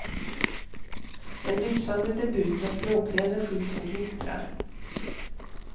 En lysande debut, med språklig energi som gnistrar.